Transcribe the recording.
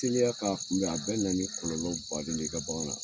Teliya k'a kun bɛ, a bɛna ni kɔlɔlɔ baden de ye, i ka bagan na.